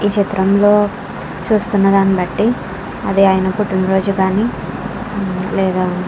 ఈ చిత్రంలో చూస్తున్న దాని బట్టి అది ఆయన పుట్టిన రోజు గానీ లేదా --